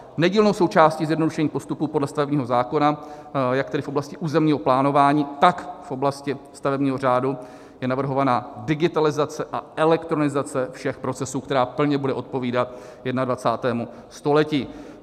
Nedílnou součástí zjednodušení postupů podle stavebního zákona jak tedy v oblasti územního plánování, tak v oblasti stavebního řádu je navrhovaná digitalizace a elektronizace všech procesů, která plně bude odpovídat 21. století.